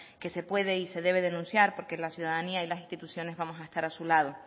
que se puede y se debe denunciar porque la ciudadanía y las instituciones vamos a estar a su lado